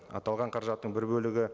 аталған қаражаттың бір бөлігі